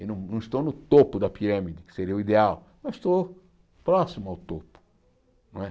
Eu não estou no topo da pirâmide, que seria o ideal, mas estou próximo ao topo. Não é